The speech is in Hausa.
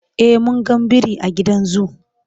e mun ga biri a gidan zoo